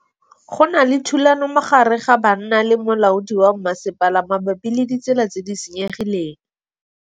Go na le thulanô magareng ga banna le molaodi wa masepala mabapi le ditsela tse di senyegileng.